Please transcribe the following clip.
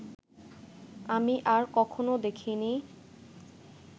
আমি আর কখনো দেখিনি